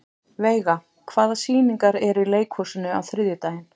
Veiga, hvaða sýningar eru í leikhúsinu á þriðjudaginn?